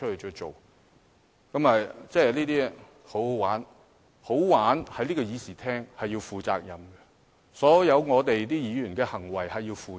在這個議事廳，"好玩"是必須負上責任的，所有議員均須為其行為負責。